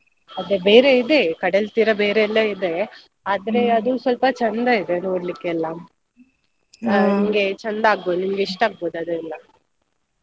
ಅದೇ ಬೇರೆ ಇದೆ. ಕಡಲ್ತೀರ ಬೇರೆ ಇದೆ ಆದ್ರೆ ಅದು ಸ್ವಲ್ಪ ಚಂದ ಇದೆ ನೋಡ್ಲಿಕ್ಕೆ ಎಲ್ಲಾ ನಿಮ್ಗೆ ಚಂದ ಅಗ್ಬೋದು ಇಷ್ಟ ಅಗ್ಬೋದು ಅದೆಲ್ಲ .